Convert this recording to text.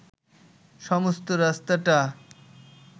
সমস্ত রাস্তাটা